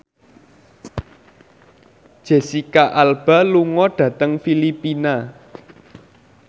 Jesicca Alba lunga dhateng Filipina